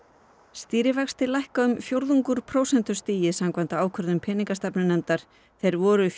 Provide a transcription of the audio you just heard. stýrivextir lækka um fjórðung úr prósentustigi samkvæmt ákvörðun peningastefnunefndar þeir voru